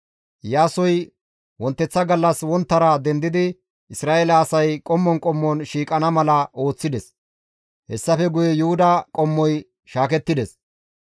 Iyaasoy wonteththa gallas wonttara dendidi Isra7eele asay ba qommon qommon shiiqana mala ooththides; hessafe guye Yuhuda qommoy shaakettides.